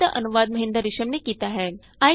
ਇਸ ਸਕਰਿਪਟ ਦਾ ਅਨੁਵਾਦ ਮਹਿੰਦਰ ਰਿਸ਼ਮ ਨੇ ਕੀਤਾ ਹੈ